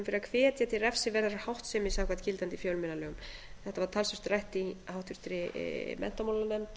fyrir að hvetja til refsiverðrar háttsemi samkvæmt gildandi fjölmiðlalögum þetta var talsvert rætt í háttvirtri menntamálanefnd